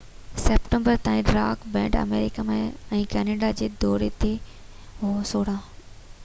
16 September تائين rock band آمريڪا ۽ Canada جي دوري تي هو